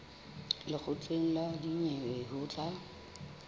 lekgotleng la dinyewe ho tla